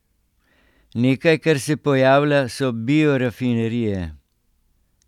Nekaj, kar se pojavlja, so biorafinerije.